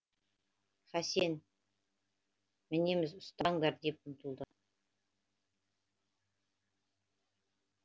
хасен мінеміз ұстаңдар деп ұмтылады